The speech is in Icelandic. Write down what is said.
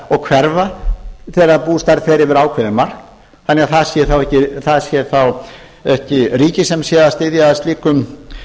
og hverfa þegar bústærð fer eftir ákveðið mark þannig að það sé ekki ríkið sem sé að styðja að